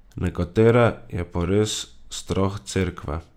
Nekatere je pa res strah Cerkve.